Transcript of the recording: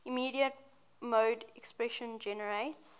immediate mode expression generates